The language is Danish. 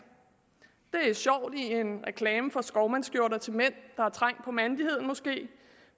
det er sjovt i en reklame for skovmandsskjorter til mænd der måske er trængt på mandigheden